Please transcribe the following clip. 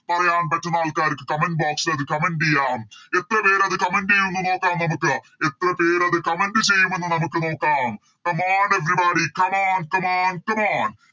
പറയാൻ പറ്റുന്ന ആൾക്കാർക്ക് Comment box ൽ അത് comment ചെയ്യാം എത്രപേരത് Comment ചെയ്യുന്ന് നോക്കാം നമുക്ക് എത്രപേരത് Comment ചെയ്യുമെന്ന് നമുക്ക് നോക്കാം Come on everybody come on come on come on